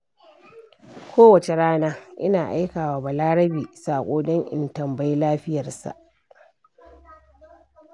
Kowace rana, Ina aika wa Balarabe saƙo don in tambayi lafiyarsa.